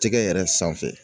Tɛgɛ yɛrɛ sanfɛ